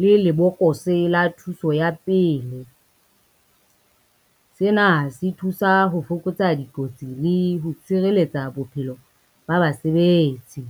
le lebokose la thuso ya pele, sena se thusa ho fokotsa dikotsi le ho tshireletsa bophelo ba basebetsi.